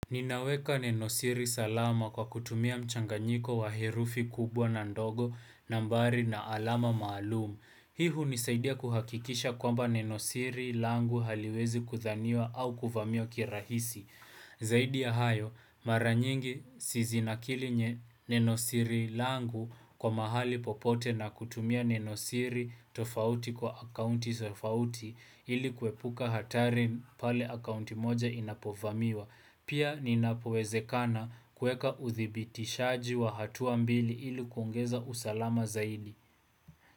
Ninaweka nenosiri salama kwa kutumia mchanganyiko wa herufi kubwa na ndogo, nambari na alama maalum. Hii hunisaidia kuhakikisha kwamba nenosiri langu haliwezi kuthaniwa au kuvamiwa kirahisi. Zaidi ya hayo, mara nyingi si zinakili nye nenosiri langu kwa mahali popote na kutumia nenosiri tofauti kwa akaunti tofauti ili kuepuka hatari pale akaunti moja inapovamiwa. Pia ninapowezekana kuweka uthibitishaji wa hatua mbili ili kuongeza usalama zaidi.